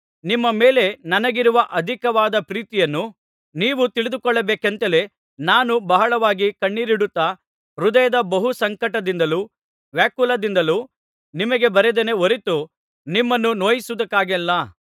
ನಿಮ್ಮ ಮೇಲೆ ನನಗಿರುವ ಅಧಿಕವಾದ ಪ್ರೀತಿಯನ್ನು ನೀವು ತಿಳಿದುಕೊಳ್ಳಬೇಕೆಂತಲೇ ನಾನು ಬಹಳವಾಗಿ ಕಣ್ಣೀರಿಡುತ್ತಾ ಹೃದಯದ ಬಹು ಸಂಕಟದಿಂದಲೂ ವ್ಯಾಕುಲದಿಂದಲೂ ನಿಮಗೆ ಬರೆದೆನೇ ಹೊರತು ನಿಮ್ಮನ್ನು ನೋಯಿಸುವುದಕ್ಕಾಗಿಯಲ್ಲ